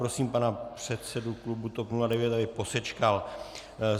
Prosím pana předsedu klubu TOP 09, aby posečkal.